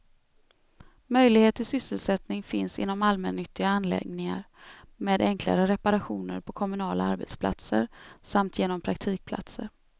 Möjlighet till sysselsättning finns inom allmännyttiga anläggningar, med enklare reparationer på kommunala arbetsplatser samt genom praktikplatser.